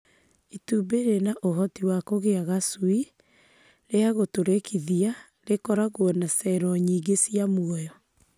Itumbĩ rĩna ũhoti wa kũgĩa gacui rĩagũtũrĩkithia rĩkoragwo na cero nyingĩ ciĩ muoyo.